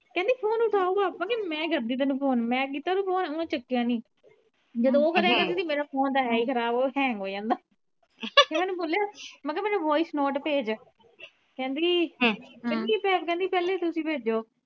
ਕਿਉਂਕਿ ਮੈ ਕਰਦੀ ਤੈਨੂੰ ਫੋਨ ਮੈ ਕੀਤਾ ਤੇ ਫੋਨ ਓਹਨੇ ਚੱਕਿਆ ਨਹੀਂ ਜਦੋ ਉਹ ਕਰਿਆ ਕਰਦੀ ਹੀ ਮੇਰਾ ਫੋਨ ਤਾ ਹੈ ਈ ਖਰਾਬ ਉਹ hang ਹੋ ਜਾਂਦਾ ਮੈ ਓਹਨੂੰ ਬੋਲਿਆ ਮੈ ਕਿਹਾ ਮੈਨੂੰ voice note ਭੇਜ ਕਹਿੰਦੀ ਕਹਿੰਦੀ ਪਹਿਲੇ ਤੁਸੀ ਭੇਜੋ।